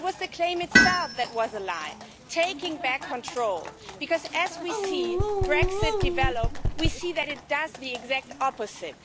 it was the claim itself that was a lie taking back control because as we see Brexit develop, we see that it does the exact opposite.